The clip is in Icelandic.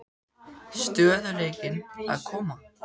Stöðugleikinn að koma?